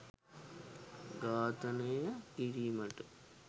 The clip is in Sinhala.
ඝාතනනය කිරීමට